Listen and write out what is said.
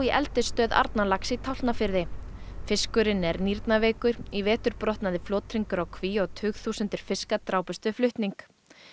eldisstöð Arnarlax í Tálknafirði fiskurinn er í vetur brotnaði flothringur á kví og tugþúsundir fiska drápust við flutning